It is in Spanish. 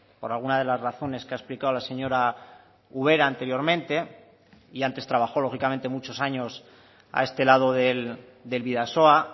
por alguna de las razones que ha explicado la señora ubera anteriormente y antes trabajó lógicamente muchos años a este lado del bidasoa